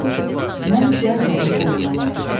Mən cəld onun qolundan yapışdım.